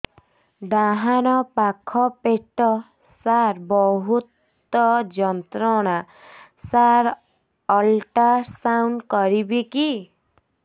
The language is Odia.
ଡାହାଣ ପାଖ ପେଟ ସାର ବହୁତ ଯନ୍ତ୍ରଣା ସାର ଅଲଟ୍ରାସାଉଣ୍ଡ କରିବି କି